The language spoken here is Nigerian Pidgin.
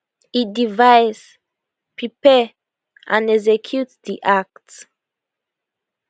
e device prepare and execute di act